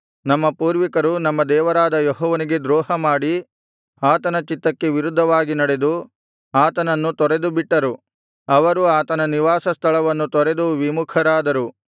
ನಮ್ಮ ಪೂರ್ವಿಕರು ನಮ್ಮ ದೇವರಾದ ಯೆಹೋವನಿಗೆ ದ್ರೋಹಮಾಡಿ ಆತನ ಚಿತ್ತಕ್ಕೆ ವಿರುದ್ಧವಾಗಿ ನಡೆದು ಆತನನ್ನು ತೊರೆದುಬಿಟ್ಟರು ಅವರು ಆತನ ನಿವಾಸ ಸ್ಥಳವನ್ನು ತೊರೆದು ವಿಮುಖರಾದರು